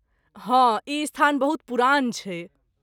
हँ, ई स्थान बहुत पुरान छै।